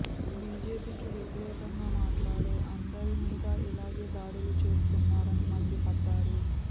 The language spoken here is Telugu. బీజేపీకి వ్యతిరేకంగా మాట్లాడే అందరి మీద ఇలాగే దాడులు చేయిస్తున్నారని మండిపడ్డారు